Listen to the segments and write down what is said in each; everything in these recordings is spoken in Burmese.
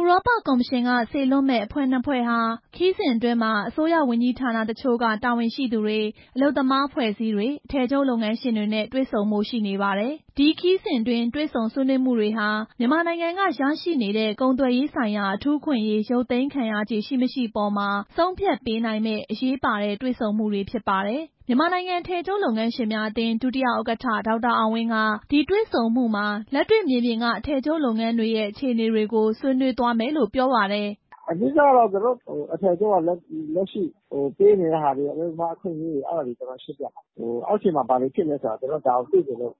ဥရောပကော်မရှင်က စေလွှတ်မယ့် အဖွဲ့နှစ်ဖွဲ့ဟာ ခရီးစဉ်အတွင်းမှာ အစိုးရဝန်ကြီးဌာနတချို့က တာဝန်ရှိသူတွေ၊ အလုပ်သမားအဖွဲ့အစည်းတွေ၊ အထည်ချုပ်လုပ်ငန်းရှင်တွေနဲ့ တွေ့ဆုံဖို့ရှိနေပါတယ်။ ဒီခရီးစဉ်အတွင်း တေ့ွဆုံဆွေးနွေးမှုတွေဟာ မြန်မာနိုင်ငံက ရရှိနေတဲ့ ကုန်သွယ်ရေးဆိုင်ရာ အထူးအခွင့်အရေး ရုပ်သိမ်းခံရခြေရှိ မရှိအပေါ်မှာ ဆုံးဖြတ်ပေးနိုင်မယ့် အရေးပါတဲ့ တွေ့ဆုံမှုတွေဖြစ်ပါတယ်။ မြန်မာနိုင်ငံ အထည်ချုပ်လုပ်ငန်းရှင်းများအသင်း ဒုတိယဥက္ကဌ ဒေါက်တာအောင်ဝင်းက ဒီတွေ့ဆုံမှုမှာ လက်တွေ့မြေပြင်က အထည်ချုပ်လုပ်ငန်းတွေရဲ့ အခြေအနေတွေကို ဆွေးနွေးသွားမယ်လို့ ပြောပါတယ်။ "အဓိကကတော့ အထည်ချုပ်က လက်ရှိပေးနေတဲ့ဟာတွေ အလုပ်သမားအခွင့်အရေး အဲဒါတွေ ရှင်းပြမယ်၊ အောက်ခြေမှာ ဘာတွေဖြစ်နေတယ်ဆိုတာ သူတို့သိချင်လို့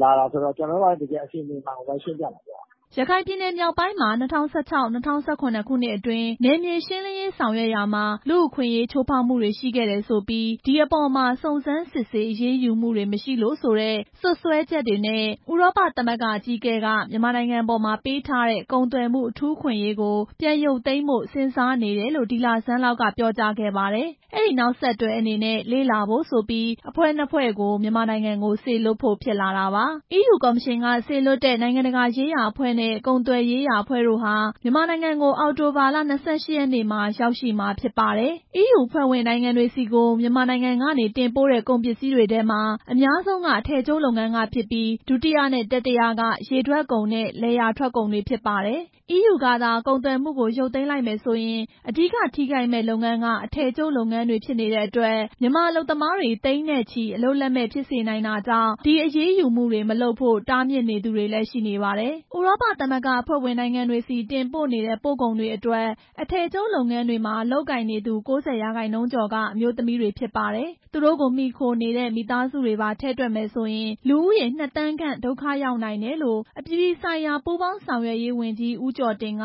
လာတာဆိုတော့ ကျနော်တို့က တကယ် အခြေအနေမှန်ကို ရှင်းပြမှာပေါ့" ရခိုင်ပြည်မြောက်ပိုင်းမှာ ၂၀၁၆-၂၀၁၇ ခုနှစ်အတွင်း နယ်မြေရှင်းလင်းရေးဆောင်ရွက်ရာမှာ လူ့အခွင့်အရေး ချိုးဖောက်မှုတွေ ရှိခဲ့တယ်ဆိုပြီး ဒီအပေါ်မှာ စုံစမ်းစစ်ဆေးအရေးယူမှုတွေ မရှိလို့ဆိုတဲ့ စွပ်စွဲချက်နဲ့ ဥရောပသမဂ္ဂ အကြီးအကဲက မြန်မာနိုင်ငံအပေါ် ပေးထားတဲ့ ကုန်သွယ်မှု အထူးအခွင့်အရေးကို ပြန်ရုပ်သိမ်းဖို့ စဉ်းစားနေတယ်လို့ ဒီလဆန်းလောက်က ပြောကြားခဲ့ပါတယ်။ အဲဒီနောက်ဆက်တွဲအနေနဲ့ လေ့လာဖို့ဆိုပြီး အဖွဲ့နှစ်ဖွဲ့ကို မြန်မာနိုင်ငံကို စေလွှတ်ဖို့ ဖြစ်လာတာပါ။ အီးယူကော်မရှင်က စေလွှတ်တဲ့ နိုင်ငံတကာရေးရာအဖွဲ့နဲ့ ကုန်သွယ်ရေးရာအဖွဲ့တို့ဟာ မြန်မာနိုင်ငံကို အောက်တိုဘာ ၂၈ ရက်နေ့မှာ ရောက်ရှိမှာဖြစ်ပါတယ်။ အီးယူအဖွဲ့ဝင်နိုင်ငံတွေဆီကို မြန်မာနိုင်ငံကနေ တင်ပို့တဲ့ကုန်ပစ္စည်းတွေထဲမှာ အများဆုံးက အထည်ချုပ်လုပ်ငန်း ကဖြစ်ပြီး ဒုတိယနဲ့ တတိယက ရေထွက်ကုန်နဲ့ လယ်ယာထွက်ကုန်တွေ ဖြစ်ပါတယ်။ အီးယူကသာ ကုန်သွယ်မှုကို ရုပ်သိမ်းလိုက်မယ်ဆိုရင် အဓိကထိခိုက်မယ့်လုပ်ငန်းက အထည်ချုပ် လုပ်ငန်းတွေဖြစ်နေတဲ့အတွက် မြန်မာအလုပ်သမားတွေ သိန်းနဲ့ချီ အလုပ်လက်မဲ့ ဖြစ်စေနိုင်တာကြောင့် ဒီအရေးယူမှု မလုပ်ဖို့ တားမြစ်နေသူတွေလည်း ရှိနေပါတယ်။ ဥရောပသမဂ္ဂအဖွဲ့ဝင် နိုင်ငံတွေဆီ တင်ပို့နေတဲ့ ပို့ကုန်တွေအတွက် အထည်ချုပ်လုပ်ငန်းတွေမှာ လုပ်ကိုင်နေသူ ၉၀ ရာခိုင်နှုန်းကျော်က အမျိုးသမီးတွေဖြစ်ပါတယ်။ သူတို့ကို မှီခိုနေတဲ့ မိသားစုတွေပါ ထည့်တွက်မယ်ဆိုရင် လူဦးရေ နှစ်သန်းခန့် ဒုက္ခရောက်နိုင်တယ်လို့ အပြည်ပြည် ဆိုင်ရာ ပူးပေါင်းဆောင်ရွက်ရေးဝန်ကြီး ဦးကျော်တင်က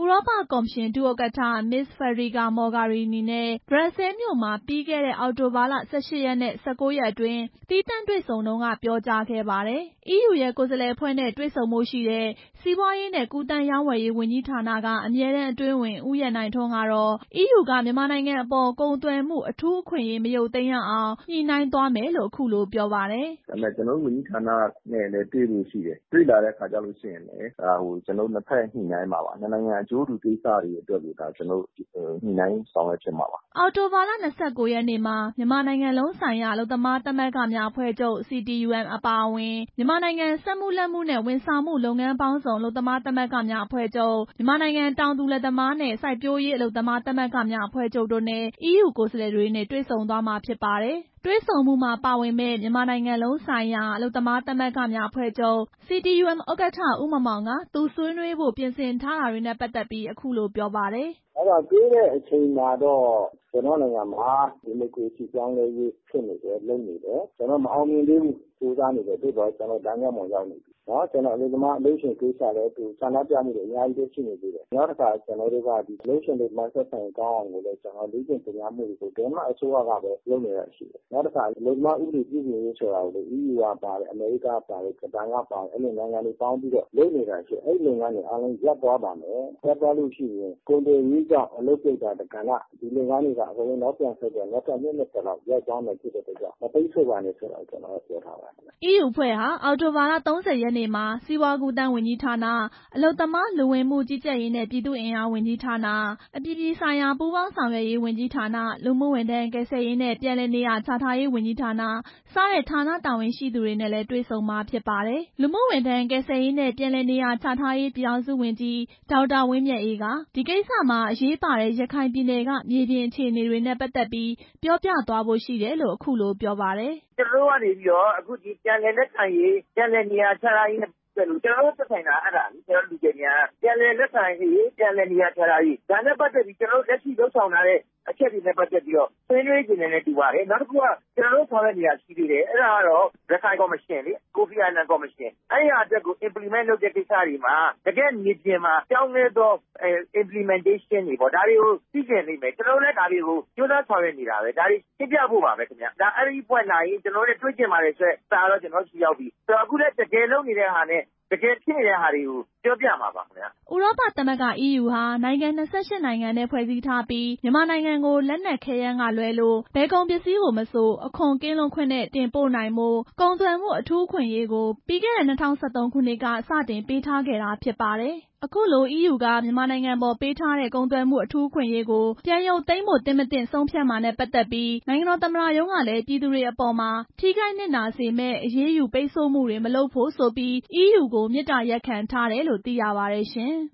ဥရောပကော်မရှင် ဒုဥက္ကဌ မစ္စစ်ဖက်ဒရီကာမော်ဂါရီနီနဲ့ ဘရပ်ဆဲလ်မြို့မှာ ပြီးခဲ့တဲ့ အောက်တိုဘာ ၁၈ ရက်နဲ့ ၁၉ ရက်အတွင်း သီးသန့်တွေ့ဆုံတုန်းက ပြောကြားခဲ့ပါတယ်။ အီးယူရဲ့ ကိုယ်စားလှယ်အဖွဲ့နဲ့ တွေ့ဆုံဖို့ရှိတဲ့ စီးပွားရေးနှင့် ကူးသန်းရောင်းဝယ်ရေးဝန်ကြီးဌာနက အမြဲတမ်းအတွင်းဝန် ဦးရန်နိုင်ထွန်းကတော့ အီးယူက မြန်မာနိုင်ငံအပေါ် ကုန်သွယ်မှု အထူးအခွင့်အရေး မရုပ်သိမ်းအောင် ညှိနှိုင်းသွားမယ်လို့ ပြောပါတယ်။ "ကျနော်တို့ ဝန်ကြီးဌာနကလည်း တွေ့ဖို့ရှိတယ်၊ တွေ့လာတဲ့အခါကြရင်လည်း နှစ်ဖက်ညှိနှိုင်းမှာပါ၊ နှစ်နိုင်ငံအကျိုးတူ ကိစ္စတွေအတွက်ကို ညှိနှိုင်းဆောင်ရွက်ဖြစ်မှာပါ" အောက်တိုဘာလ ၂၉ ရက်နေ့မှာ မြန်မာနိုင်ငံလုံးဆိုင်ရာ အလုပ်သမားသမဂ္ဂများအဖွဲ့ချုပ် CTUM အပါအဝင် မြန်မာနိုင်ငံစက်မှုလက်မှုနှင့် ဝန်ဆောင်မှုလုပ်ငန်းပေါင်းစုံ အလုပ်သမားသမဂ္ဂများအဖွဲ့ချုပ် MICS ၊ မြန်မာနိုင်ငံ တောင်သူလယ်သမားနှင့် စိုက်ပျိုးရေးအလုပ်သမားသမဂ္ဂများအဖွဲ့ချုပ် AFFM တို့နဲ့ အီးယူကိုယ်စားလှယ်တွေ တွေ့ဆုံသွားမှာဖြစ်ပါတယ်။ တွေ့ဆုံမှုမှာ ပါဝင်မယ့် မြန်မာနိုင်ငံလုံးဆိုင်ရာ အလုပ်သမားသမဂ္ဂများအဖွဲ့ချုပ် CTUM ဥက္ကဌ ဦးမောင်မောင်က သူဆွေးနွေးဖို့ ပြင်ဆင်ထားတာတွေနဲ့ ပတ်သက်ပြီး အခုလို ပြောပါတယ်။ "တွေ့တဲ့အချိန်မှာတော့ ကျနော်တို့ နိုင်ငံမှာ ဒီမိုကရေစီပြောင်းလဲရေး ဖြစ်နေတယ်၊ လုပ်နေတယ်၊ ဒါပေမဲ့ မအောင်မြင်သေးဘူး၊ ကြိုးစားနေတယ်၊ သို့သော်လမ်းကြောင်းပေါ် ရောက်နေပြီ၊ အလုပ်သမား အလုပ်ရှင်ကိစ္စလည်း ဆန္ဒပြမှုတွေ အများကြီးရှိနေသေးတယ်၊ နောက်တခါ အလုပ်ရှင် အလုပ်သမား ဆက်ဆံရေးကောင်းအောင် လေ့ကျင့်သင်ကြားမှုတွေ ဒိန်းမတ် အစိုးရကလည်း လုပ်ပေးနေတာရှိတယ်။ နောက်တစ်ခါ အလုပ်သမား ဥပဒေ ပြုပြင်ရေးဆိုတာကို အီးယူကပါတယ်၊ အမေရိကန်ကပါတယ်၊ ဂျပန်ကပါတယ်၊ အဲလိုနိုင်ငံတွေပေါင်းပြီး လုပ်နေတာတွေရှိတယ်၊ အဲလုပ်ငန်းတွေ အားလုံးရပ်သွားပါမယ်၊ ရပ်သွားလို့ရှိရင် ကုန်သွယ်ရေးကြောင့် အလုပ်ပြုတ်တာတကဏ္ဍ ဒီလုပ်ငန်းတွေက အကုန်လုံးနောက်ပြန်ဆုတ် ပြီးတော့ နောက်ထပ် နှစ် ၂၀လောက် ရပ်သွားမှာဖြစ်တဲ့အတွက်ကြောင့် မပိတ်ဆို့ပါနဲ့ ပြောသွားပါမယ်" အီးယူအဖွဲ့ဟာ အောက်တိုဘာ ၃၀ ရက်နေ့မှာ စီးပွားကူးသန်းဝန်ကြီးဌာန၊ အလုပ်သမား၊ လူဝင်မှုကြီးကြပ်ရေးနှင့် ပြည်သူ့အင်အားဝန်ကြီးဌာန၊ အပြည်ပြည်ဆိုင်ရာပူးပေါင်းဆောင်ရွက်ဝန်ကြီးဌာန၊ လူမှုဝန်ထမ်း ကယ်ဆယ်ရေးနဲ့ ပြန်လည်နေရာချထားရေးဝန်ကြီးဌာန စတဲ့ဌာန တာဝန်ရှိသူတွေနဲ့လည်း တွေ့ဆုံမှာဖြစ်ပါတယ်။ လူမှုဝန်ထမ်းကယ်ဆယ်ရေးနှင့် ပြန်လည်နေရာချထားရေး ပြည်ထောင်စုဝန်ကြီး ဒေါက်တာ ဝင်းမြတ်အေးက ဒီကိစ္စမှာ အရေးပါတဲ့ ရခိုင်ပြည်နယ်က မြေပြင်အခြေအနေတွေနဲ့ ပတ်သက်ပြီး ပြောပြသွားဖို့ ရှိတယ်လို့ အခုလိုပြောပါတယ်။ "ကျနော်တို့ကနေပြီးတော့ ပြန်လည်လက်ခံရေး ပြန်လည်နေရာချထားရေးနဲ့ ပတ်သက်လို့ ကျနော်တို့ သက်ဆိုင် တာ အဲဒါလေ၊ ကျနော်တို့ လူကယ်ပြန်က ဒါနဲ့ပတ်သက်ပြီး ကျျနော်တို့လက်ရှိလုပ်ဆောင်ထားတဲ့အချက်တွေနဲ့ ပတ်သက်ပြီး ဆွေးနွေးချင်တယ်နဲ့ တူပါတယ်၊ နောက်တစ်ခုက ကျျနော်တို့ ဆောင်ရွက်နေတာရှိသေးတယ်၊ ရခိုင်ကော်မရှင်၊ ကိုဖီအာနန် ကော်မရှင်၊ အဲဟာအတွက်ကို အင်ပလိမန့် လုပ်တဲ့ကိစ္စတွေမှာ တကယ့်မြေပြင် မှာပြောင်းလဲသော အင်ပလိမန်းတေးရှင်းတွေ ဒါတွေကိုသိချင်လိမ့်မယ်၊ ကျနော်တို့ကလည်း ဒါတွေကို ကြိုးစားဆောင်ရွက်နေတာပဲ၊ အဲဒါကို ရှင်းပြဖို့ပါပဲ၊ အဲဒီအဖွဲ့လာရင် ကျနော်တို့ကို တွေ့ချင်ပါတယ်ဆိုတဲ့ စာတော့ရပြီ၊ အခုလည်း တကယ်ဖြစ်နေတာတွေနဲ့ တကယ်လုပ်နေတာတွေကို ပြောပြသွားမှာပါ" ဥရောပသမဂ္ဂ အီးယူဟာ နိုင်ငံ ၂၈ နဲ့ ဖွဲ့စည်းထားပြီး မြန်မာနိုင်ငံကို လက်နက်ခဲယမ်းကလွဲလို့ ဘယ်ကုန်ပစ္စည်းမဆို အခွန်ကင်းလွတ်ခွင့်နဲ့ တင်ပို့နိုင်ဖို့ ကုန်သွယ်မှု အခွင့်အရေးကို ပြီးခဲ့တဲ့ ၂၀၁၃ ခုနှစ်က စတင်ပေးထားတာဖြစ်ပါတယ်။ ဒီအပေါ်မှာ နိုင်ငံတော်သမ္မတရုံးကလည်း ပြည်သူတွေအပေါ် ထိခိုက်နစ်နာစေမယ့် အရေးယူပိတ်ဆို့မှုတွေ မလုပ်ဖို့ဆိုပြီး အီးယူကို မေတ္တာရပ်ခံထားတယ်လို့ သိရပါတယ်ရှင်။